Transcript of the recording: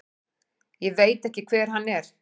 Ég veit ekki hver hann er.